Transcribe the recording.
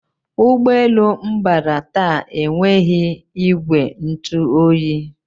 Ụgbọ elu m bara taa enweghị ìgwè ntụ oyi